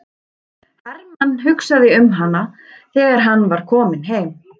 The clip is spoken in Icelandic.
Hermann hugsaði um hana þegar hann var kominn heim.